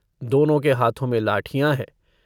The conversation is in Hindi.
दोनों के हाथों में लाठियाँ हैं।